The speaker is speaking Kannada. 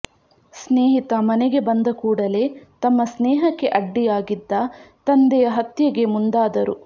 ಸ್ನೇಹಿತ ಮನೆಗೆ ಬಂದ ಕೂಡಲೇ ತಮ್ಮ ಸ್ನೇಹಕ್ಕೆ ಅಡ್ಡಿಯಾಗಿದ್ದ ತಂದೆಯ ಹತ್ಯೆಗೆ ಮುಂದಾದರು